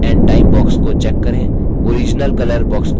date and time box को check करें